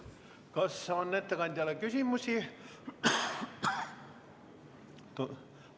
Kas on ettekandjale küsimusi?